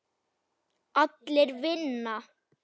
Allir vinna.